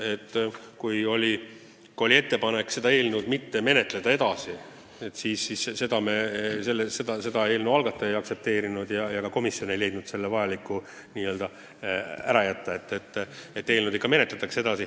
Kui oli ettepanek seda eelnõu edasi mitte menetleda, siis seda algataja ei aktsepteerinud ja ka komisjon ei pidanud seda vajalikuks.